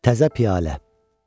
Təzə piyalə.